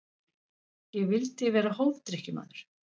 Ég vildi vera hófdrykkjumaður.